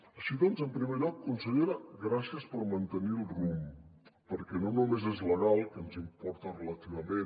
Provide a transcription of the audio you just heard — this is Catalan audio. així doncs en primer lloc consellera gràcies per mantenir el rumb perquè no només és legal que ens importa relativament